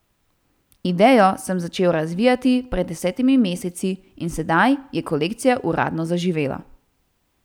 Idejo sem začel razvijati pred desetimi meseci in sedaj je kolekcija uradno zaživela.